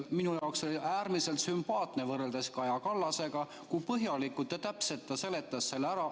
Minu jaoks oli see äärmiselt sümpaatne võrreldes Kaja Kallasega, kui põhjalikult ja täpselt seletas Kristen Michal kõik ära.